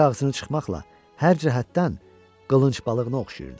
İri ağzını çıxmaqla hər cəhətdən qılınc balığına oxşayırdı.